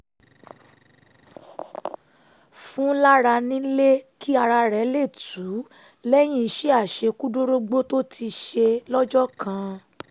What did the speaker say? fún lára nílé kí ara lè tù ú lẹ́yìn iṣẹ́ [ àṣekúdórógbó tó ti ṣe lọ́jọ́ kan